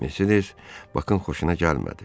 Mercedes Bakın xoşuna gəlmədi.